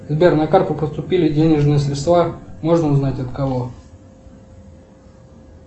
сбер на карту поступили денежные средства можно узнать от кого